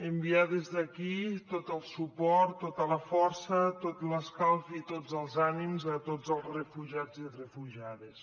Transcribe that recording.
enviar des d’aquí tot el suport tota la força tot l’escalf i tots els ànims a tots els refugiats i refugiades